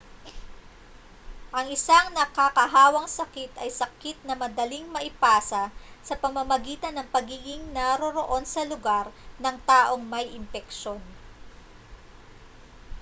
ang isang nakakahawang sakit ay sakit na madaling maipasa sa pamamagitan ng pagiging naroroon sa lugar ng taong may impeksyon